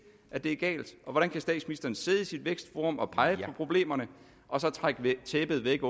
at det er galt og hvordan kan statsministeren sidde i sit vækstforum og pege på problemerne og så trække tæppet væk